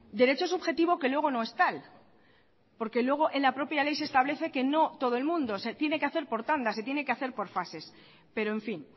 derecho subjetivo que luego no es tal porque luego en la propia ley se establece que no todo el mundo se tiene que hacer por tandas se tiene que hacer por fases pero en fin